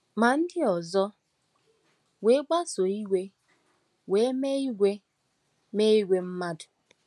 Ma ndị ọzọ wee kpasuo iwe wee mee ìgwè mee ìgwè mmadụ.